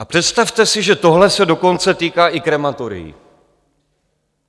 A představte si, že tohle se dokonce týká i krematorií.